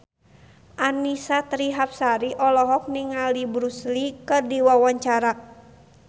Annisa Trihapsari olohok ningali Bruce Lee keur diwawancara